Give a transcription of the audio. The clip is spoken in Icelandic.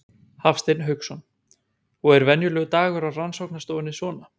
Hafsteinn Hauksson: Og er venjulegur dagur á rannsóknarstofunni svona?